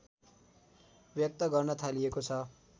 व्यक्त गर्न थालिएको छ